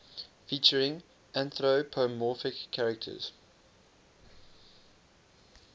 featuring anthropomorphic characters